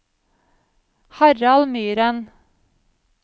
Harald Myren